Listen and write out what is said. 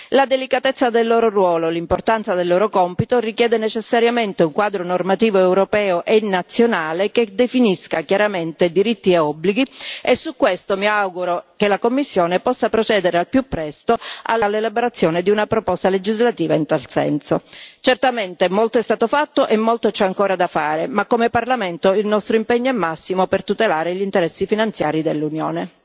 La delicatezza del loro ruolo e l'importanza del loro compito richiedono necessariamente un quadro normativo europeo e nazionale che definisca chiaramente diritti e obblighi, e su questo mi auguro che la Commissione possa procedere al più presto all'elaborazione di una proposta legislativa in tal senso. Certamente molto è stato fatto e molto c'è ancora da fare, ma come Parlamento il nostro impegno è massimo per tutelare gli interessi finanziari dell'Unione.